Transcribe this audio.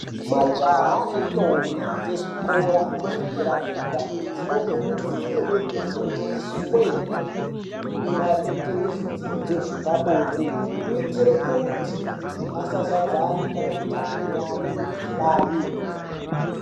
Majaha nendombi dzezvikora zvedera dera zvinokone kufundiswe maringe nezvidzidzo zvepabonde kuitire kuti aszadzane kana kutapurirane mikuhlani..